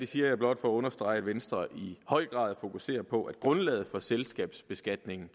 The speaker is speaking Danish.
siger jeg blot for at understrege at venstre i høj grad fokuserer på at grundlaget for selskabsbeskatningen